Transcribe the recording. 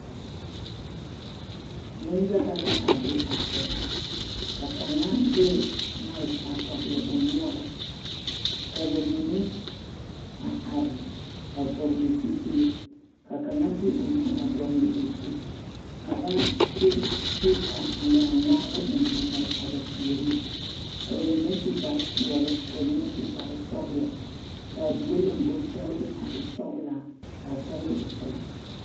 Neŋ yaga la a be a kyɛ ka kaŋa de maɛki a togle o noɔre ka bamine a are a vɔglee zupilii ka kaŋa de o nu a dɔglee o zu ka kaba de pee pa ŋmaa ŋmaabo eŋ a mare a ba puoriŋ ka bamine su kparre peɛle ka bamine su sɔgloo ka die lombori kyɛllee a sɔglaa ka a kyɛle e peɛlaa.